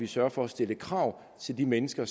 sørger for at stille krav til de mennesker